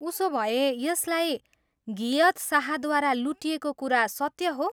उसोभए, यसलाई घियथ शाहद्वारा लुटिएको कुरा सत्य हो?